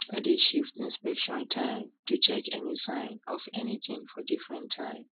i dey shift inspection time to check any sign of anything for different time